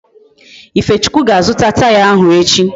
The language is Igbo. Ifechukwu ga-azuta Taya ahụ echi